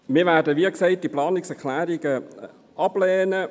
Wir werden diese Planungserklärungen, wie gesagt, ablehnen.